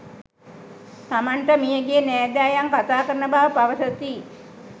තමන්ට මියගිය නෑදෑයන් කථාකරන බව පවසති.